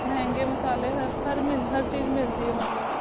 ਮਹਂਗੇ ਮਸਲੇ ਹਰ ਮੀ, ਦੇ ਹਰ ਚੀਜ਼ੇ ਮਿਲ ਦੀ ਆਯ ਮਤਲਬ